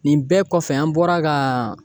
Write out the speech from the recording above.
Nin bɛɛ kɔfɛ an bɔra ka